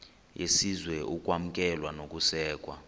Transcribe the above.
yesizwe ukwamkelwa nokusekwa